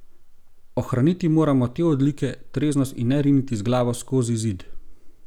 Ohraniti moramo te odlike, treznost in ne riniti z glavo skozi zid.